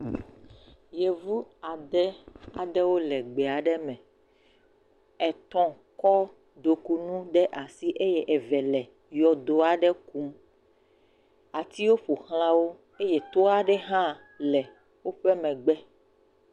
Yevu ade aɖewo le gbe aɖeme etɔ kɔ ɖukunu ɖe asi eye eve le yɔdo aɖe kum atiwo ƒoxlawo eye to aɖe ha le woƒe megbe